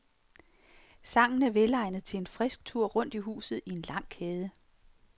Sangen er velegnet til en frisk tur rundt i huset i en lang kæde.